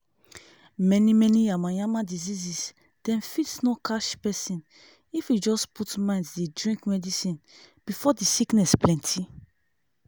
many many yamayama diseases dem fit no catch pesin if e just put mind dey drink medicine before di sickness plenti